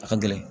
A ka gɛlɛn